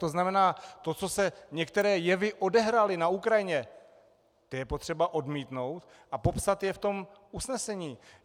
To znamená, to, co se, některé jevy, odehrály na Ukrajině, to je potřeba odmítnout a popsat je v tom usnesení.